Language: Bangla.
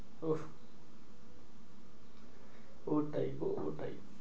উহ ওটাই গো ওটাই।